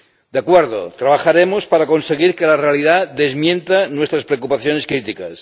De acuerdo, trabajaremos para conseguir que la realidad desmienta nuestras preocupaciones críticas.